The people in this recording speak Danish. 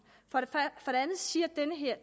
for det andet siger